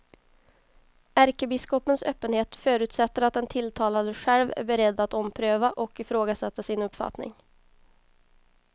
Ärkebiskopens öppenhet förutsätter att den tilltalade själv är beredd att ompröva och ifrågasätta sin uppfattning.